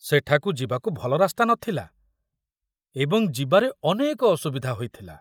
ସେଠାକୁ ଯିବାକୁ ଭଲ ରାସ୍ତା ନଥିଲା ଏବଂ ଯିବାରେ ଅନେକ ଅସୁବିଧା ହୋଇଥିଲା।